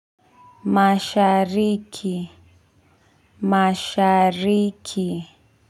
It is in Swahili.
Mashariki mashariki.